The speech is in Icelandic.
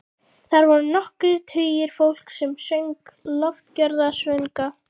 Þar voru nokkrir tugir fólks sem söng lofgjörðarsöngva.